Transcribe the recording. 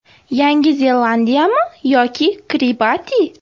Yangi Zelandiyami yoki Kiribati?